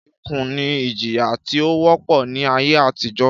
Ìkú ni ìjíyá tí ó wọ́pọ̀ ni ayé àtíjó.